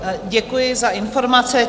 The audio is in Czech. Děkuji za informace.